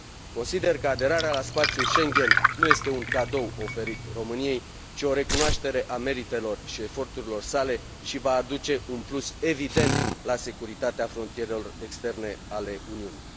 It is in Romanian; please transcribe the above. Consider că aderarea la spațiul Schengen nu este un cadou oferit României, ci o recunoaștere a meritelor și eforturilor sale și va aduce un plus evident la securitatea frontierelor externe ale Uniunii.